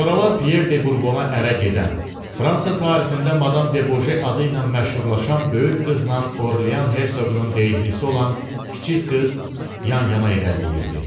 Soralar Pier De Burbona ərə gedən, Fransa tarixində madam Deboje adı ilə məşhurlaşan böyük qızla Orlian Hersoğunun deyiklisi olan kiçik qız yan-yana irəliləyirdi.